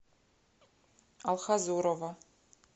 алхазурова